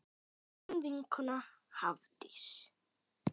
Þín vinkona Hafdís.